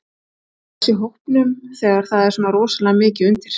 Stress í hópnum þegar það er svona rosalega mikið undir?